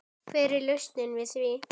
Hver er lausnin við því?